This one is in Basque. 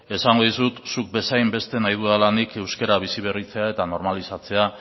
esango dizut zuk bezain beste nahi dudala nik euskera biziberritzea eta normalizatzea